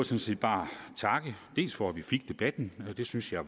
set bare takke dels for at vi fik debatten og det synes jeg